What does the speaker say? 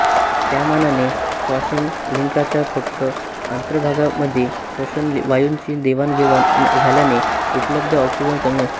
त्यामानाने श्वासनलिकांच्या फक्त अंत्र्भागामध्ये श्वसन वायूंची देवाण घेवाण झाल्याने उपलब्ध ऑक्सिजन कमी असतो